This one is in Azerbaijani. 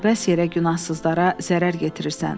Əbəs yerə günahsızlara zərər yetirirsən.